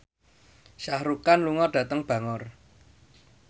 Shah Rukh Khan lunga dhateng Bangor